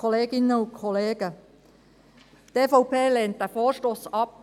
Die EVP lehnt diesen Vorstoss ab.